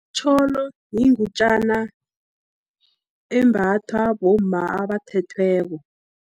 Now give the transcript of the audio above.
Itjholo, yingutjana embatha bomma abathethweko.